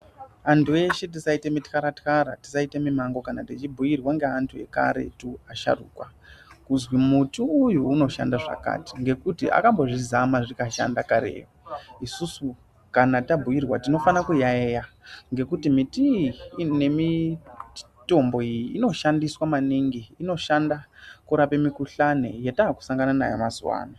Antu eshe tisaite mitxara-txara tisaite mimango kana tichibhuirwa ngeantu ekaretu asharuka. Kuzi muti uyu unoshanda zvakati ngekuti akambozvizama zvikashanda kare. Isusu kana tambuirwa tinofana kuyaeya ngekuti miti iyi ngemitombo iyi inoshandiswa maningi inoshanda kurapa mikuhlani yatasangana nayo mazuva ano.